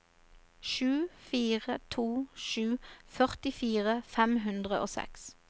sju fire to sju førtifire fem hundre og seks